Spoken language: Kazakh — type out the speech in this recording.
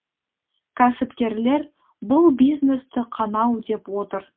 кәсіпкерлер бұл бизнесті қанау деп отыр